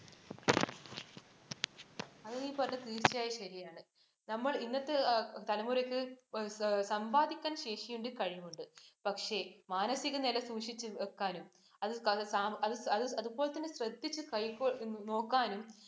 അത് നീ പറഞ്ഞത് തീർച്ചയായും ശരിയാണ്. നമ്മള്‍ ഇന്നത്തെ തലമുറക്ക് സമ്പാദിക്കാൻ ശേഷി ഉണ്ട്, കഴിവുണ്ട്. പക്ഷെ മാനസിക നില സൂക്ഷിച്ചു വയ്ക്കാനും അതുപോലെ തന്നെ ശ്രദ്ധിച്ച് നോക്കാനും